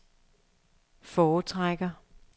foretrækker